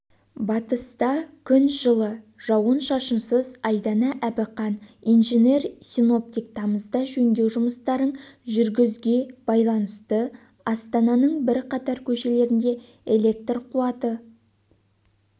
батыста күн жылы жауын-шашынсыз айдана әбіқан инженер-синоптик тамызда жөндеу жұмыстарын жүргізугебайланысты астананың бірқатар көшелерінде электр қуаты